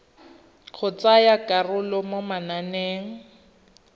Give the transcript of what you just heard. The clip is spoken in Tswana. go tsaya karolo mo mananeng